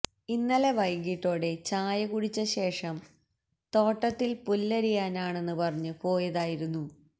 ഇന്നലെ വൈകിട്ടോടെ ചായ കുടിച്ച ശേഷം തോട്ടത്തില് പുല്ലരിയാനെന്ന് പറഞ്ഞ് പോയതായിരുന്നു